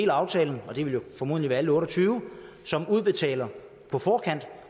af aftalen og det vil formodentlig være alle otte og tyve som udbetaler på forkant